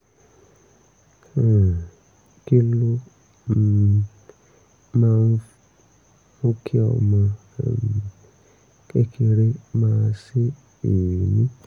um kí ló um máa ń mú kí ọmọ um kékeré máa sé èémí?